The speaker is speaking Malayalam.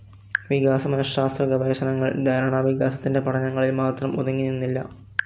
വികാസ മനഃശാസ്ത്ര ഗവേഷണങ്ങൾ ധാരണാവികാസത്തിന്റെ പഠനങ്ങളിൽ മാത്രം ഒതുങ്ങിനിന്നില്ല.